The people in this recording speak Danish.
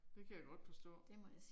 Det kan jeg godt forstå